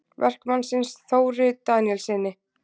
Verkamannsins, Þóri Daníelssyni.